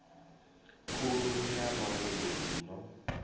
khulu ya mavhuru i no